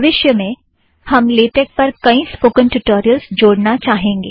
भविष्य में हम लेटेक पर कईं स्पोकन ट्यूटोरियलज़ जोडना चाहेंगे